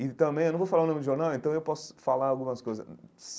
E também, eu não vou falar o nome do jornal, então eu posso falar algumas coisas.